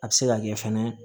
A bɛ se ka kɛ fɛnɛ